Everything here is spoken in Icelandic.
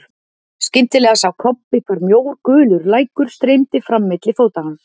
Skyndilega sá Kobbi hvar mjór gulur lækur streymdi fram milli fóta hans.